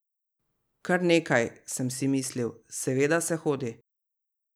Kar nekaj, sem si mislil, seveda se hodi.